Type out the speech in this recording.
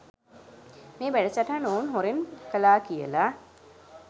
මේ වැඩසටහන ඔවුන් හොරෙන් කලා කියලා